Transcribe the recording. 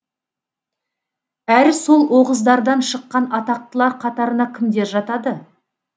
әрі сол оғыздардан шыққан атақтылар қатарына кімдер жатады